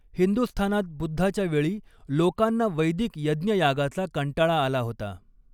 हिंदुस्थानात बुद्धाच्या वेळी लोकांना वैदिक यज्ञयागाचा कंटाळा आला होता.